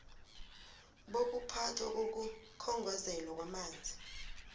bokuphathwa kokukhongozelwa kwamanzi